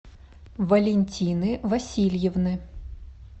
валентины васильевны